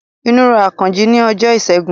Inú ro Àkànjí ni ọjọ́ ìṣẹ́gun